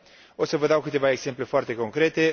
O să vă dau câteva exemple foarte concrete.